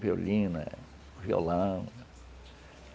Violina, violão.